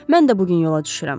Mən də bu gün yola düşürəm.